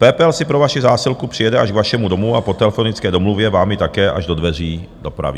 PPL si pro vaši zásilku přijede až k vašemu domu a po telefonické domluvě vám ji také až do dveří dopraví.